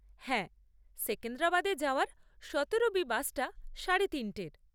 হ্যাঁ, সেকেন্দ্রাবাদে যাওয়ার সতেরো বি বাসটা সাড়ে তিনটের।